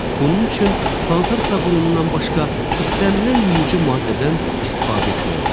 Bunun üçün paltar sabunundan başqa istənilən yuyucu maddədən istifadə etmək olar.